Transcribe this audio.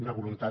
una voluntat